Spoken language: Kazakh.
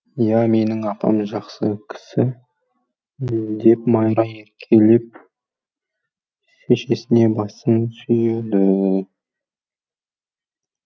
иә менің апам жақсы кісі деп майра еркелеп шешесіне басын сүйеді